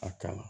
A kan